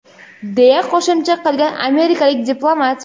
deya qo‘shimcha qilgan amerikalik diplomat.